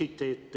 Aitäh!